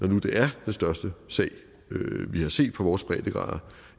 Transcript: nu det er den største sag vi har set på vores breddegrader